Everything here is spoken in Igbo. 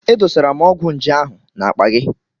E dosara m ọgwụ nje ahụ n'akpa gị.